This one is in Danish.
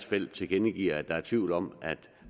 felt tilkendegiver at der er tvivl om at